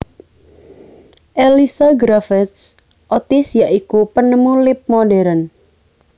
Elisha Graves Otis ya iku penemu lip modern